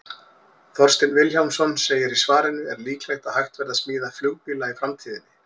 Þorsteinn Vilhjálmsson segir í svarinu Er líklegt að hægt verði að smíða flugbíla í framtíðinni?